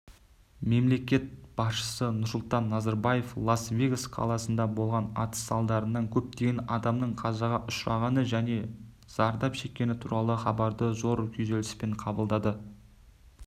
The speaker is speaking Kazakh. мемлекет басшысы нұрсұлтан назарбаев лас-вегас қаласында болған атыс салдарынан көптеген адамның қазаға ұшырағаны және зардап шеккені туралы хабарды зор күйзеліспен қабылдады